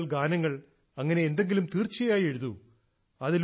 കവിതകൾ ഗാനങ്ങൾ അങ്ങനെ എന്തെങ്കിലും തീർച്ചയായും എഴുതൂ